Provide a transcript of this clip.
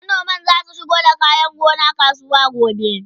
manoman zasu shigo da kayan gona kasuwa gobe